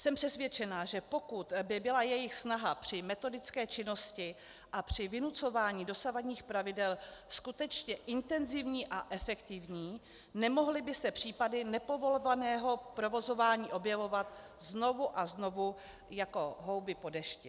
Jsem přesvědčena, že pokud by byla jejich snaha při metodické činnosti a při vynucování dosavadních pravidel skutečně intenzivní a efektivní, nemohly by se případy nepovolovaného provozování objevovat znovu a znovu jako houby po dešti.